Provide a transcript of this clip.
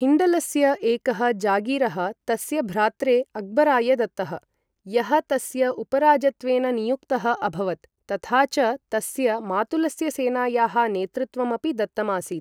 हिण्डलस्य एकः जागीरः तस्य भ्रात्रे अक्बराय दत्तः, यः तस्य उपराजत्वेन नियुक्तः अभवत् तथा च तस्य मातुलस्य सेनायाः नेतृत्वम् अपि दत्तम् आसीत्।